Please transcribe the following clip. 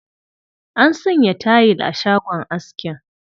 An sanya tayil a shagon askin.